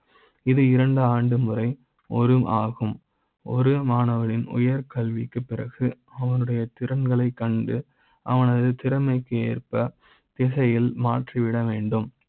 இது இரண்டு ஆண்டு முறை ஒரு மாகும் ஒரு மாணவ னின் உயர் கல்வி க்கு பிறகு. அவனுடைய திறன்களை கண்டு அவனது திறமை க்கு ஏற்ப திசை யில் மாற்றிவிட வேண்டும்.